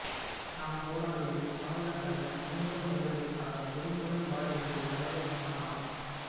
நாம் போராடுவது சாவதற்கல்ல சுதந்திர மனிதர்களாக உரிமையுடன் வாழ என்று தலைவர் சொன்னாராம்